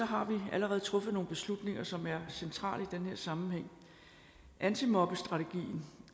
har vi allerede truffet nogle beslutninger som er centrale i den her sammenhæng antimobbestrategien